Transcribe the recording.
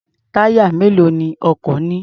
Táyà mélòó ni ọkọ̀ ní?